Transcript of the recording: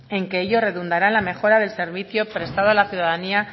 en que ello redundará en la mejora del servicio prestado a la ciudadanía